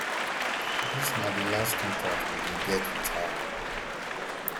dis na di last contact we bin get wit her um